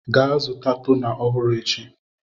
gaa zụta toner ọhụrụ echi!